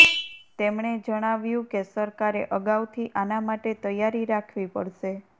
તેમણે જણઆવ્યું કે સરકારે અગાઉથી આના માટે તૈયારી રાખવી પડશે